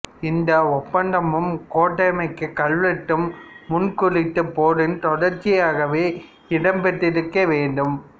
இந்த ஒப்பந்தமும் கோட்டகமைக் கல்வெட்டும் முன் குறித்த போரின் தொடர்ச்சியாகவே இடம்பெற்றிருக்க வேண்டும்